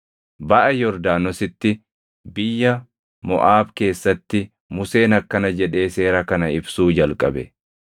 Baʼa Yordaanositti biyya Moʼaab keessatti Museen akkana jedhee seera kana ibsuu jalqabe: